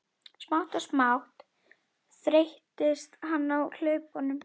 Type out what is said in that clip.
Smátt og smátt þreyttist hann á hlaupunum.